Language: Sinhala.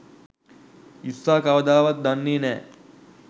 ඉස්සා කවදාවත් දන්නෙ නෑ